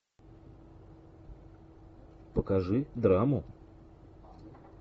покажи драму